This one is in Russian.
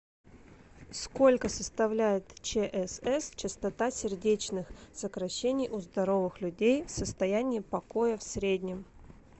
сколько составляет чсс частота сердечных сокращений у здоровых людей в состоянии покоя в среднем